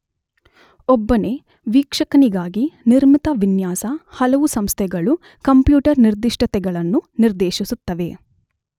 ಒಬ್ಬನೇ ವೀಕ್ಷಕನಿಗಾಗಿ ನಿರ್ಮಿತ ವಿನ್ಯಾಸ, ಹಲವು ಸಂಸ್ಥೆಗಳು ಕಂಪ್ಯೂಟರ್ ನಿರ್ದಿಷ್ಟತೆಗಳನ್ನು ನಿರ್ದೇಶಿಸುತ್ತವೆ.